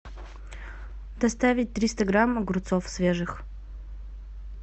доставить триста грамм огурцов свежих